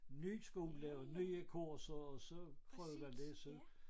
Ny skole og nye kurser og så prøvede jeg at læse